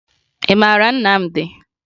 Ị mara Nnamdi?